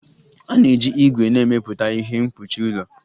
A na-eji ígwè na-emepụta ihe mkpuchi ụlọ